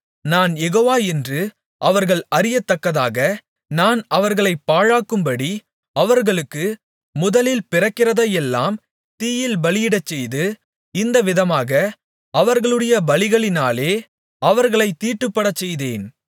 நான் யெகோவா என்று அவர்கள் அறியத்தக்கதாக நான் அவர்களைப் பாழாக்கும்படி அவர்களுக்கு முதலில் பிறக்கிறதையெல்லாம் தீயில் பலியிடச்செய்து இந்த விதமாக அவர்களுடைய பலிகளினாலே அவர்களைத் தீட்டுப்படச்செய்தேன்